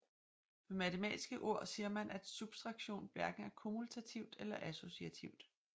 Med matematiske ord siger man at subtraktion hverken er kommutativt eller associativt